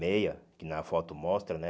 Meia, que na foto mostra, né?